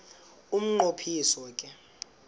umnqo phiso ke